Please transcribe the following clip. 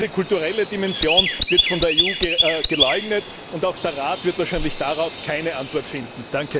Diese kulturelle Dimension wird von der EU geleugnet, und auch der Rat wird wahrscheinlich darauf keine Antwort finden.